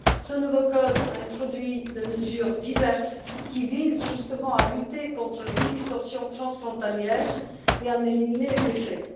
Ce nouveau code a introduit diverses mesures qui visent justement à lutter contre les distorsions transfrontalières et à en éliminer les effets.